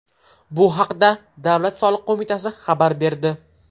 Bu haqda Davlat soliq qo‘mitasi xabar berdi .